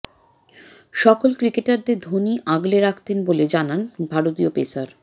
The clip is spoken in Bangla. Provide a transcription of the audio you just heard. সকল ক্রিকেটারদের ধোনি আগলে রাখতেন বলে জানান ভারতীয় পেসার